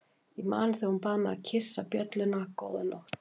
Ég man þegar hún bað mig að kyssa bjölluna góða nótt.